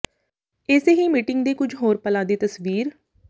ਏਸੇ ਹੀ ਮੀਟਿੰਗ ਦੇ ਕੁਝ ਹੋਰ ਪਲਾਂ ਦੀ ਤਸਵੀਰ